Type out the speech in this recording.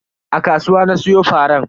A kasuwa na siyo faran.